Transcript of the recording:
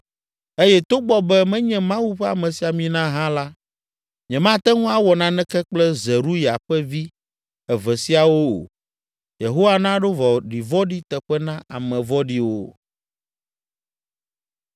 eye togbɔ be menye Mawu ƒe amesiamina hã la, nyemate ŋu awɔ naneke kple Zeruya ƒe vi eve siawo o. Yehowa naɖo vɔ̃ɖivɔ̃ɖi teƒe na ame vɔ̃ɖiwo.”